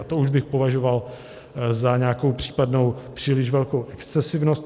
A to už bych považoval za nějakou případnou příliš velkou excesivnost.